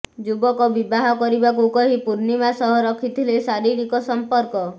ଯୁବକ ବିବାହ କରିବାକୁ କହି ପୂର୍ଣ୍ଣିମା ସହ ରଖିଥିଲେ ଶାରୀରିକ ସଂପର୍କ